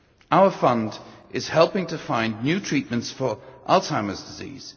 Our Fund is helping to find new treatments for Alzheimer's disease